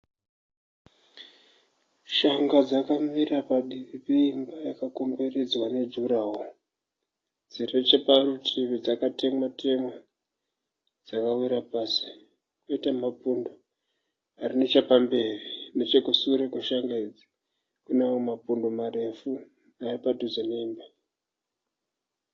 Shanga dzakamera padivi peimba yakakomberedzwa nejuraworo. Dziri necheparutivi dzakatemwa temwa dzakawira pasi. Koita mapundo ari nechepamberi. Nechekushure kweshanga idzi kunemapundo marefu nearipadhuze neimba.